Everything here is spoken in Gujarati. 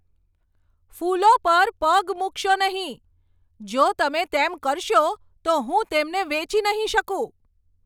ફૂલો પર પગ મૂકશો નહીં! જો તમે તેમ કરશો તો હું તેમને વેચી નહીં શકું!